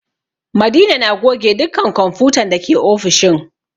Madina na goge dukkan kwamfutan dake ofishin